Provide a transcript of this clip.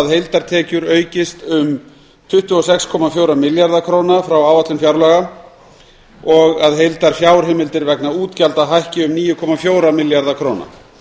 heildartekjur aukist um tuttugu og sex komma fjóra milljarða króna frá áætlun fjárlaga og að heildarfjárheimildir vegna útgjalda hækki um níu komma fjóra milljarða króna